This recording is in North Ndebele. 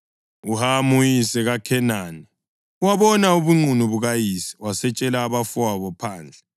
UHamu, uyise kaKhenani, wabona ubunqunu bukayise wasetshela abafowabo phandle.